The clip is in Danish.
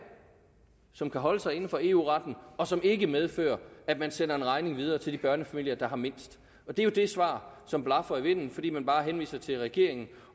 som kan holde sig inden for eu retten og som ikke medfører at man sender en regning videre til de børnefamilier der har mindst det er det svar som blafrer i vinden fordi man bare henviser til regeringen